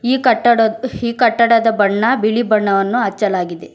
ಈ ಕಟ್ಟಡ ಈ ಕಟ್ಟಡದ ಬಣ್ಣ ಬಿಳಿ ಬಣ್ಣವನ್ನು ಹಚ್ಚಲಾಗಿದೆ.